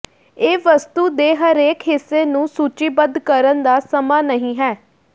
ਇਹ ਵਸਤੂ ਦੇ ਹਰੇਕ ਹਿੱਸੇ ਨੂੰ ਸੂਚੀਬੱਧ ਕਰਨ ਦਾ ਸਮਾਂ ਨਹੀਂ ਹੈ